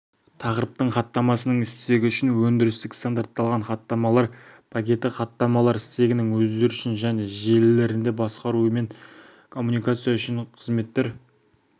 тақырыптың хаттамасының стегі үшін өндірістік стандартталған хаттамалар пакеті хаттамалар стегінің өздері үшін және желілерінде басқару мен коммуникация үшін қызметтер